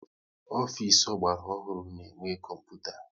Ofisi ọgbara ọhụrụ na-enwe kọmputa